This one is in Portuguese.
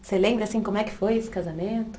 Você lembra, assim, como é que foi esse casamento?